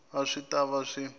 a swi ta va swi